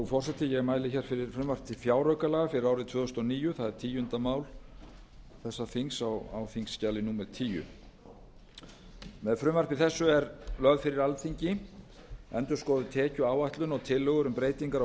forseti ég mæli hér fyrir frumvarpi til fjáraukalaga fyrir árið tvö þúsund og níu það er tíundi mál þessa þings á þingskjali númer tíu með frumvarpi þessu er lögð fyrir alþingi endurskoðuð tekjuáætlun og tillögur um breytingar á